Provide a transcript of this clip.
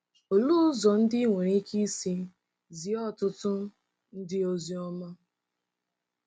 Olee ụzọ ndị i nwere ike isi zie ọtụtụ ndị ozi ọma?